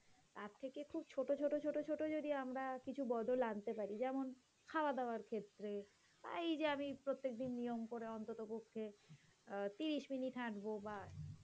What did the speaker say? তার থেকে খুব ছোট ছোট ছোট যদি আমরা কিছু বদল আনতে পারি যেমন খাওয়া-দাওয়ার ক্ষেত্রে আর এই যে আমি প্রত্যেকদিন নিয়ম করে অন্ততপক্ষে অ্যাঁ ৩০ মিনিট হাঁটবো বাহঃ,